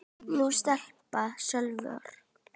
Þín stelpa, Salvör.